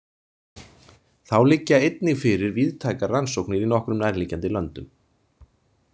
Þá liggja einnig fyrir víðtækar rannsóknir í nokkrum nærliggjandi löndum.